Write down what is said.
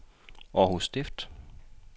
Århus Stift